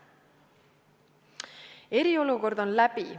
Eriolukord on läbi.